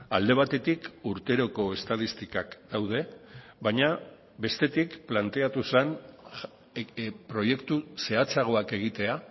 alde batetik urteroko estatistikak daude baina bestetik planteatu zen proiektu zehatzagoak egitea